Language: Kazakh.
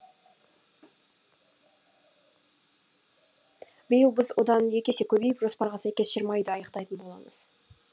биыл біз одан екі есе көбейіп жоспарға сәйкес жиырма үйді аяқтайтын боламыз